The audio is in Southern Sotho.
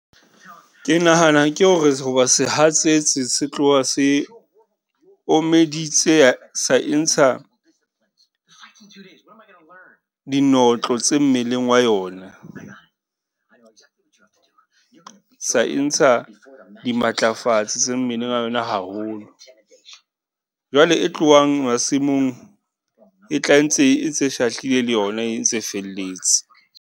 Ke nahana ke hore ho ba sehatsetsi se tloha se omeditse , sa e ntsha dinotlolo tse mmeleng wa yona. Sa e ntsha dimatlafatsi tse mmeleng a yona haholo. Jwale e tlohang masimong, e tla e ntse, e ntse shahlile le yona e ntse e felletse.